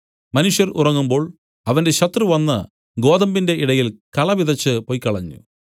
മനുഷ്യർ ഉറങ്ങുമ്പോൾ അവന്റെ ശത്രു വന്നു ഗോതമ്പിന്റെ ഇടയിൽ കള വിതച്ച് പൊയ്ക്കളഞ്ഞു